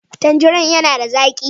Tandirin yana da zaƙi